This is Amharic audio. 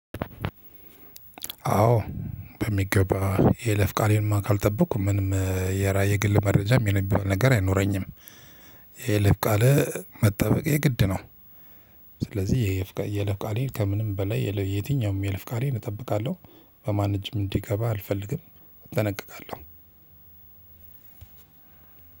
አዎ በሚገባ የይለፍ ቃሌንማ ካልጠበቅኩ ምንም የራያ የግል መረጃ ብሎ ነገር አይኖረኝም። የይለፍ ቃል መጠበቅ የግድ ነው። ስለዚህ የይለፍ ቃሌን ከምንም በላይ የትኛውም የይለፍ ቃሌን እጠብቃለሁ። በማን እጅም እንዲገባ አልፈልግም እጠነቀቃለሁ።